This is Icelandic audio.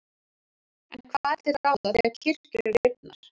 En hvað er til ráða þegar kirkjur eru rifnar?